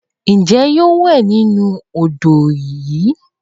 Ǹjẹ́ yóò wẹ nínú odò ìwẹ̀?